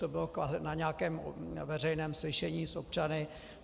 To bylo na nějakém veřejném slyšení s občany.